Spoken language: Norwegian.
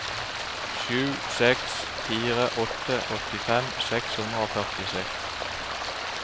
sju seks fire åtte åttifem seks hundre og førtiseks